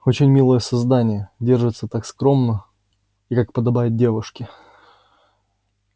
очень милое создание держится так скромно и как подобает девушке